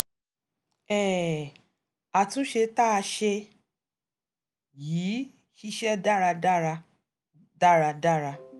um àtúnṣe tá a ṣe yìí ṣiṣẹ́ dáradára dáradára